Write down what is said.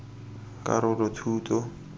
karolothuto